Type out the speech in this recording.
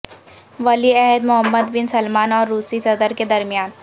ولیعہد Mohammed bin Salman اور روسی صدر کے درمیان